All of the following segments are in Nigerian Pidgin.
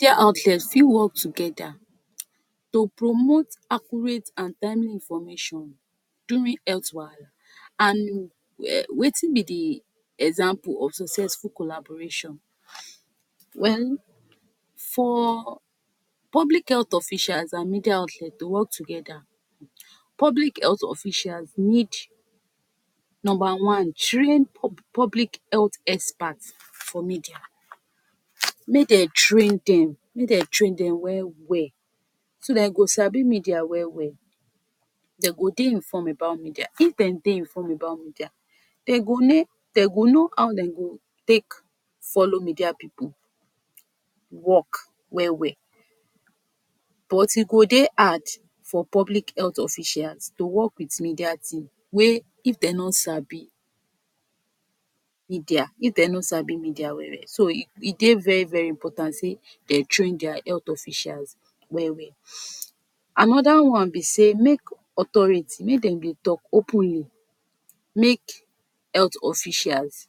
Media outlet fi work together to promote accurate and timely information during health wahala and wetin be the example of successful collaboration? Well for public health officials and media outlet to work together, public health officials need; number one, trained public health expert for media, make dem train them, make dem train them well-well so that e go sabi media well-well, they go dey informed about media. If dem dey informed about media, dem go dey, den go know how den go take follow media pipu work well-well, but e go dey hard for public health officials to work with media team wey if dem no sabi media, if dem no sabi media well-well, so e dey very very important sey they trained their health officials well-well. Another one be say make authority, make dem dey talk openly, make health officials,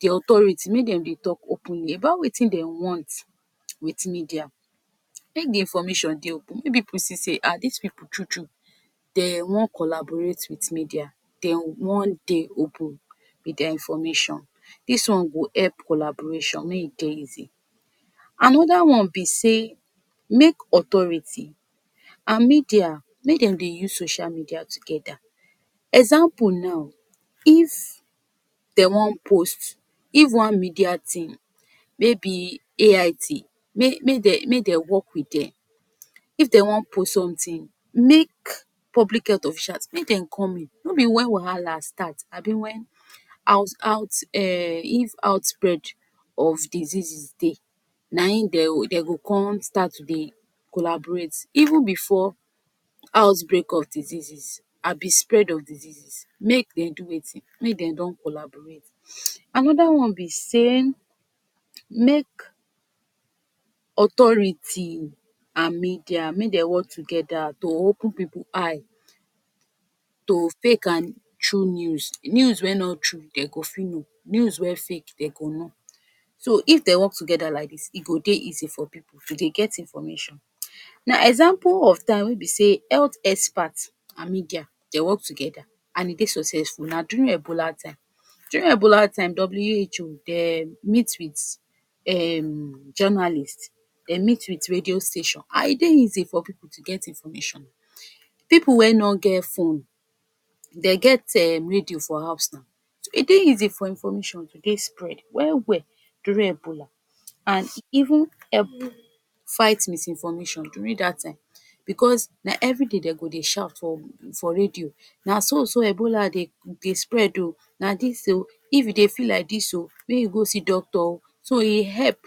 the authority make dem dey talk openly about wetin dem want with media, make the information dey open, make pipu see say Ah these pipu true true den wan collaborate with media, den wan dey open with their information, dis one go help collaboration make e dey easy. Another one be say make authority and media, make dem dey use social media together, example now if den wan post, if one media team maybe AIT, make make, make dem work with them, if den wan post something, make public health officials make dem come in, no be when wahala start abi when out out Em if out-spread of diseases dey, na im dey go come start to dey collaborate, even before outbreak of diseases abi spread of diseases, make den do wetin, make dem don collaborate. Another one be say, make authority and media, make dem work together to open pipu eye to fake and true news, news wey no true they go fi know, news wey fake dey go know, so if they work together like dis, e go dey easy for pipu to dey get information. Now example of time wey be sey health expert and media dem work together and e dey successful na during Ebola time, during Ebola time WHO dem meet with Em journalist, dem meet with radio station and e dey easy for pipu to get information. Pipu wey no get fone, they get Em radio for house nau, so e dey easy for information to dey spread well-well during Ebola, and even help fight misinformation during that time because na everyday den go dey shout for radio, na so so Ebola dey spread oo, na dis oo, if you dey feel like dis oo, make you go see doctor oo, so e help,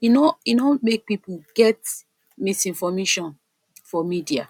e no, e no make pipu get misinformation for media.